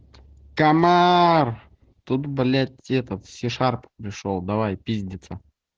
комар тут блять этот сишар пришёл давай пиздиться